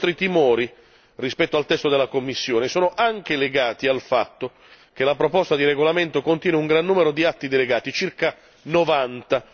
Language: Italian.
I nostri timori rispetto al testo della Commissione sono anche legati al fatto che la proposta di regolamento contiene un gran numero di atti delegati, circa 90,